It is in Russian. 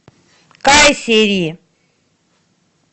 кайсери